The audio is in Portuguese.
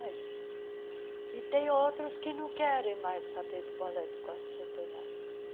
E tem outros que não querem mais saber do Ballet do Quarto Centenário.